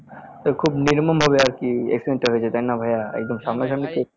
তো খুব নির্মম ভাবে আরকি accident টা হয়েছে তাই না ভাইয়া একদম সামনাসামনি